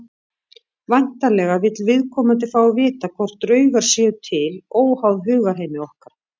Væntanlega vill viðkomandi fá að vita hvort draugar séu til óháð hugarheimi okkar.